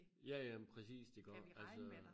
Ja ja men præcist iggå altså